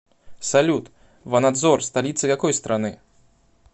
салют ванадзор столица какой страны